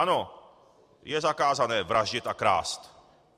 Ano, je zakázané vraždit a krást.